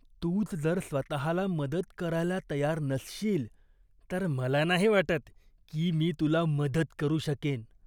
तूच जर स्वतःला मदत करायला तयार नसशील तर मला नाही वाटत की मी तुला मदत करू शकेन.